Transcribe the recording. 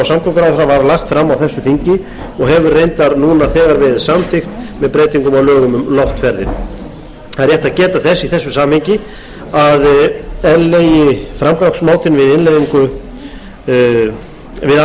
samgönguráðherra var lagt fram á þessu þingi og hefur reyndar núna þegar verið samþykkt með breytingum á lögum um loftferðir það er rétt að geta þess í þessu samhengi að eðlilegi framgangsmátinn við